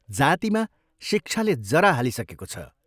जातिमा शिक्षाले जरा हालिसकेको छ।